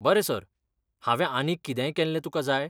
बरें सर, हांवें आनीक कितेंय केल्ले तुकां जाय?